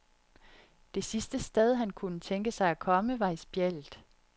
Det sidste sted, han kunne tænke sig at komme, var i spjældet.